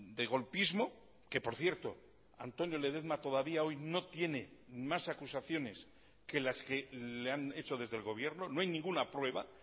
de golpismo que por cierto antonio ledezma todavía hoy no tiene más acusaciones que las que le han hecho desde el gobierno no hay ninguna prueba